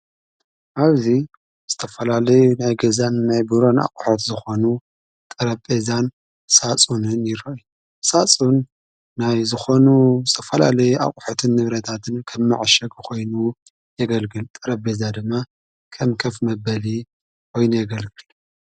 ኣብዙይ ዝተፈላለይ ናይ ገዛን ናይ ብሮን ኣቝሖት ዝኾኑ ጠረቤዛን ሣጹንን ይረይ ሣጹን ናይ ዝኾኑ ብዝተፈላለይ ኣቝሑትን ንብረታትን ከም መዐሸግ ኾይኑ የገልግል ጠረቤዛ ድማ ከም ከፍ መበልየ ወይኑ የገልግል።